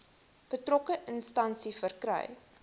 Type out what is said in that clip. betrokke instansie verkry